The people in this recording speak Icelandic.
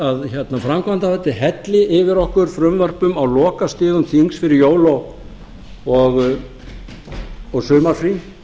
að framkvæmdarvaldið helli yfir okkur frumvörpum á lokastigum þings fyrir jól og sumarfrí